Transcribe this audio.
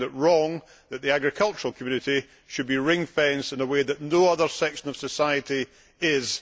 I find it wrong that the agricultural community should be ring fenced in a way that no other section of society is.